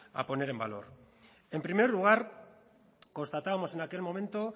a poner en valor en primer lugar constatábamos en aquel momento